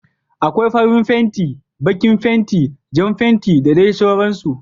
Akwai farin fenti, baƙin fenti, Jan fenti da dai sauran su